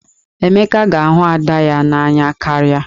Emeka ga-ahụ Ada ya n'anya karịa.